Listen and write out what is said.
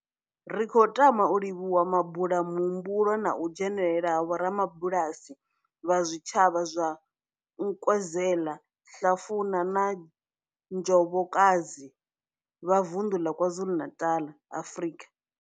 Ri khou tama u livhuwa mabulayo muhumbulo na u dzhenela ha vhorabulasi vha zwitshavha zwa Nkwezela, Hlafuna na Njobokazi, Bulwer, vha Vundu la KwaZulu-Natal, Afrika.